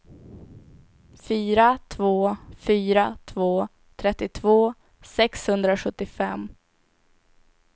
fyra två fyra två trettiotvå sexhundrasjuttiofem